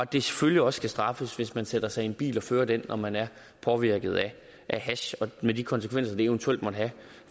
det selvfølgelig også skal straffes hvis man sætter sig i en bil og fører den når man er påvirket af hash med de konsekvenser det eventuelt måtte have